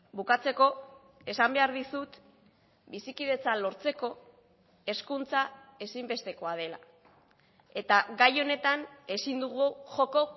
bukatzeko esan behar dizut bizikidetza lortzeko hezkuntza ezinbestekoa dela eta gai honetan ezin dugu joko